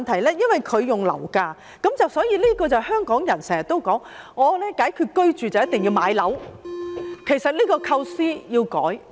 田議員提到樓價，這就如香港人經常說解決居住問題就一定要買樓，其實這個構思要改變。